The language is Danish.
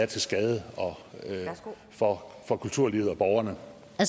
til skade for for kulturlivet og borgerne